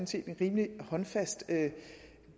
set et rimelig håndfast